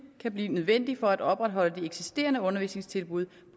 kan blive nødvendig for at opretholde de eksisterende undervisningstilbud